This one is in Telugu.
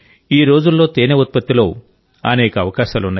ఈరోజుల్లో తేనె ఉత్పత్తిలో అనేక అవకాశాలు ఉన్నాయి